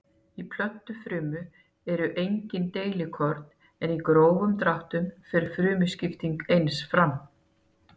Í plöntufrumu eru engin deilikorn en í grófum dráttum fer frumuskipting eins fram.